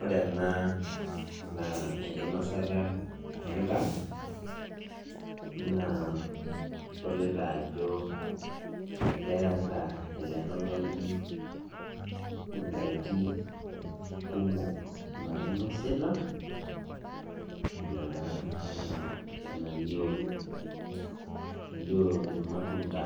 Ore ena naa enkinasata endaa naa idolita ajo ekeeta ele tung'ani indaiki kumok nainosita naa enaa enalio elio irmatunda